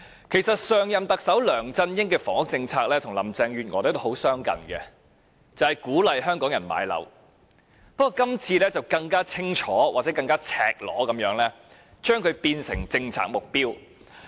其實，上任特首梁振英的房屋政策與林鄭月娥的很相近，就是鼓勵香港人買樓。不過，今次更清楚、更赤裸地將它變成政策目標。